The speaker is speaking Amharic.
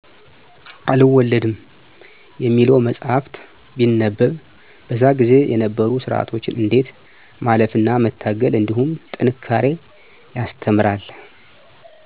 አልወለድም የሚለው መፃህፍት ቢነበብ በዛ ጊዜ የነበሩ ስርዓቶችን እንዴት ማለፍ እና መታገል እንድሁም ጥንካሬ ያስተምራል።